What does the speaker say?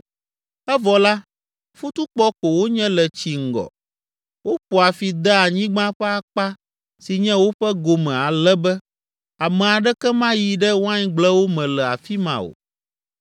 “Evɔ la, futukpɔ ko wonye le tsi ŋgɔ, woƒoa fi dea anyigba ƒe akpa si nye woƒe gome ale be ame aɖeke mayi ɖe waingblewo me le afi ma o.